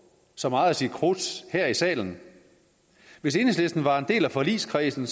så meget af sit krudt her i salen hvis enhedslisten var en del af forligskredsen